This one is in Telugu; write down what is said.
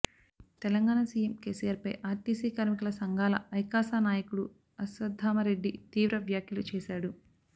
తెలంగాణ సీఎం కేసీఆర్పై ఆర్టీసీ కార్మికుల సంఘాల ఐకాసా నాయకుడు అశ్వత్థామరెడ్డి తీవ్ర వ్యాఖ్యలు చేశాడు